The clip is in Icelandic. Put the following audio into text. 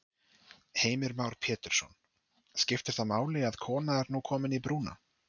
Heimir Már Pétursson: Skiptir það máli að kona er nú komin í brúna?